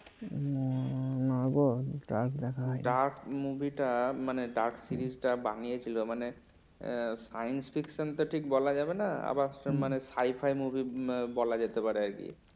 নাগো dark দেখা হয়নি dark movie মানে dark series টা বানিয়ে ছিল মানে তো ঠিক বলা যাবে না আবার মানে হাই ফাই movie বলা যেতে পারে আর কি